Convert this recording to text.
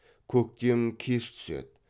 көктем кеш түседі